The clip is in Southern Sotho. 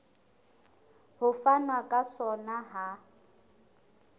ho fanwa ka sona ha